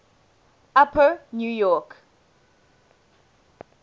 upper new york